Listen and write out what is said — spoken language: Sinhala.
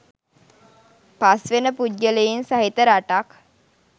පස් වෙන පුද්ගලයින් සහිත රටක්